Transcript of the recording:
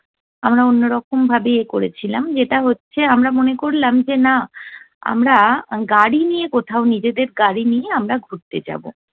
আমরা অন্য রকম ভাবে ইয়ে করেছিলাম, যেটা হচ্ছে আমরা মনে করলাম যে না আমরা গাড়ি নিয়ে কোথাও নিজেদের গাড়ি নিয়ে আমরা ঘুরতে যাব।